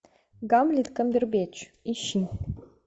гамлет камбербэтч ищи